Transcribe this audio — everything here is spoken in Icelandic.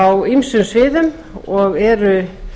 á ýmsum sviðum og eru